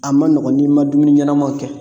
A ma nɔgɔn n'i ma dumuni ɲɛnamaw kɛ